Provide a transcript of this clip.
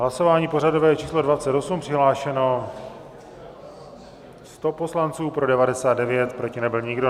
Hlasování pořadové číslo 28, přihlášeno 100 poslanců, pro 99, proti nebyl nikdo.